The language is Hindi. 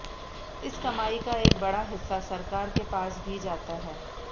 इस कमाई का एक बड़ा हिस्सा सरकार के पास भी जाता है